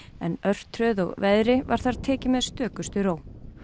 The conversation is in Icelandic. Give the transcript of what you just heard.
en örtröð og veðri var þar tekið með stökustu ró